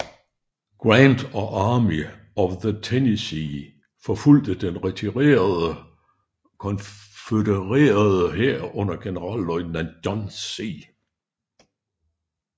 Grant og Army of the Tennessee forfulgte den retirerende konfødererede hær under generalløjtnant John C